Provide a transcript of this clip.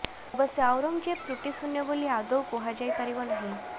ଅବଶ୍ୟ ଆଉରଙ୍ଗଜେବ ତୃଟିଶୂନ୍ୟ ବୋଲି ଆଦୌ କୁହାଯାଇ ପାରିବ ନାହିଁ